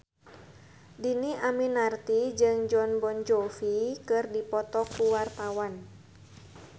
Dhini Aminarti jeung Jon Bon Jovi keur dipoto ku wartawan